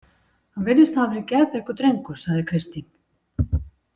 Hann virðist hafa verið geðþekkur drengur, sagði Kristín.